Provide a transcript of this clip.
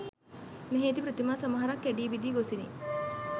මෙහි ඇති ප්‍රතිමා සමහරක් කැඩී බිඳී ගොසිනි